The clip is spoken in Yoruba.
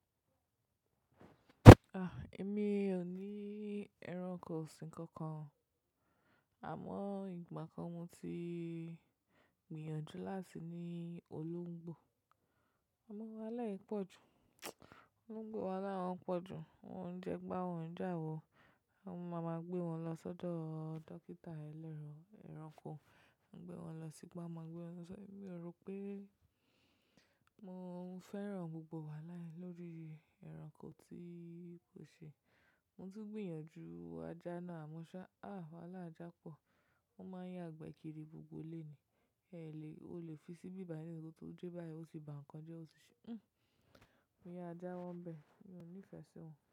Ah, èmi ò ní ẹranko ọ̀sìn kankan o. Àmọ́ ìgbà kan mo ti gbìyànjú láti ní olóńgbò. Amọ wahalá ẹ pọ́jù, olóńgbò wahalá wọ́n pọ́jù. Wọ́n jẹ gbá wọ́n j'àwọ, a máa gbé wọn lọ sọ́dọ́ dókítà ẹranko. Máa gbé wọn lọ sígba, máa gbé wọn sọṣo. Èmi o rò pé mo fẹ́ràn gbogbo wahala yén lórí ẹranko tí kò ṣe. Mo tún gbìyànjú ajá náà, àmọ́ ṣá, ah, wahalá àjà pọ̀. Wọ́n máa ń ya'gbẹ̀ kiri gbogbo ilé ni. Ẹ lè, o lè fi sí'bí bàyi nísin ko tó dẹ́ báyìí ó ti ba nǹkan jẹ́ ó ti ṣe. Hmm, mo yara jáwọ n'bẹ́. Mi ò nífẹ̀ẹ́ sí wọn.